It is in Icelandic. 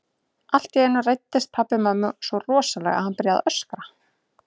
Allt í einu reiddist pabbi mömmu svo rosalega að hann byrjaði að öskra.